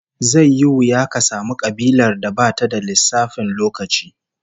Zai yi wuya ka samu kabilar da bata da lissafin lokaci